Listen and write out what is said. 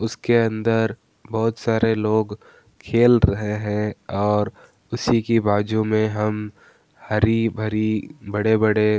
उसके अंदर बहुत सारे लोग खेल रहे हैं और उसी के बाजू में हम हरी-भरी बड़े-बड़े --